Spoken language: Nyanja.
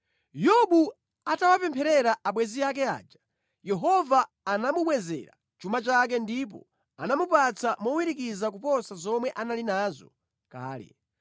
Yobu atawapempherera abwenzi ake aja, Yehova anamubwezera chuma chake ndipo anamupatsa mowirikiza kuposa zomwe anali nazo kale.